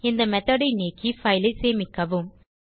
இந்த மெத்தோட் ஐ நீக்கி பைல் ஐ சேமிக்கவும்